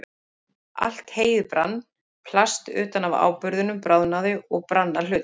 Allt heyið brann, plast utan af áburðinum bráðnaði og brann að hluta.